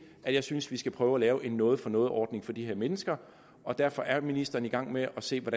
at jeg synes vi skal prøve at lave en noget for noget ordning for de her mennesker derfor er ministeren i gang med at se på